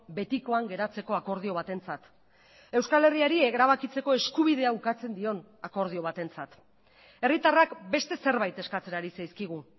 betikoan geratzeko akordio batentzat euskal herriari erabakitzeko eskubidea ukatzen dion akordio batentzat herritarrak beste zerbait eskatzen ari zaizkigu